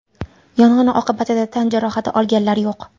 Yong‘in oqibatida tan jarohati olganlar yo‘q.